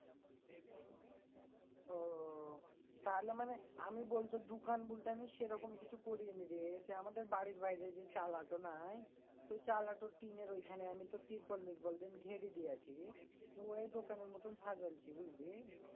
ও তাহলে মানে আমি বলতে দুকান বলতে আমি সেরকম কিছু করি নি রে সে আমাদের বাড়ির বাইরে যে চালাটো নাই? তো ওই চালাটোর টিনের ওইখানে আমি তোর তিরপল মিরপল দিয়ে আমি ঘেড়ে দিয়েছি ওই দোকানের মত সাজানছি বুঝলি?